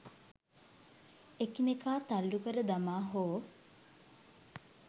එකිනෙකා තල්ලු කර දමා හෝ